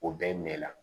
O bɛɛ mɛn la